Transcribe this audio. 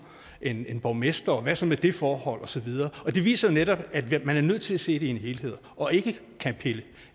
end borgmestre og hvad så med det forhold og så videre og det viser jo netop at man er nødt til at se det i en helhed og ikke kan pille